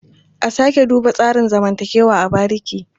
A sake duba tsarin zamantakewa a bariki.